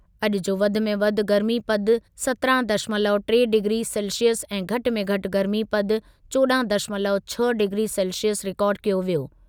अॼु जो वधि में वधि गर्मीपदु सत्रहं दशमलव टे डिग्री सेल्सिअस ऐं घटि में घटि गर्मीपदु चौॾहं दशमलव छह डिग्री सेल्सिअस रिकार्ड कयो वियो।